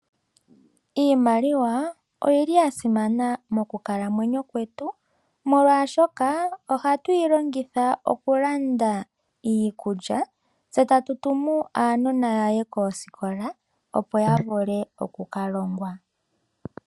Iimaliwa oya simana mokukalamwenyo kwetu, molwashoka ohatu yi longitha okulanda iikulya, tse tatu tumu aanona ya ye koosikola, opo ya vule oku ka longwa.